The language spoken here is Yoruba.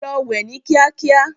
Lọ wẹ ni kíákíá.